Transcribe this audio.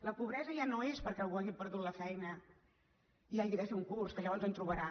la pobresa ja no és perquè algú hagi perdut la feina i hagi de fer un curs que llavors en trobarà